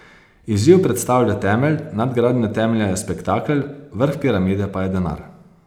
Izziv predstavlja temelj, nadgradnja temelja je spektakel, vrh piramide pa je denar.